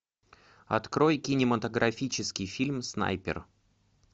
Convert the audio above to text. открой кинематографический фильм снайпер